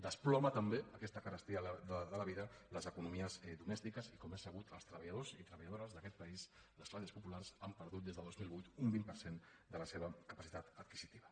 desploma també aquesta carestia de la vida les economies domèstiques i com és sabut els treballadors i treballadores d’aquest país les classes populars han perdut des del dos mil vuit un vint per cent de la seva capacitat adquisitiva